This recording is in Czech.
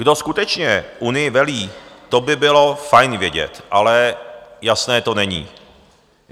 Kdo skutečně Unii velí, to by bylo fajn vědět, ale jasné to není.